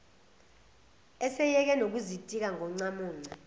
eseyeke nokuzitika ngoncamunce